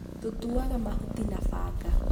tũtuuaga mahuti na banga